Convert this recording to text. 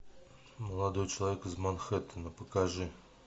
молодой человек из манхэттена покажи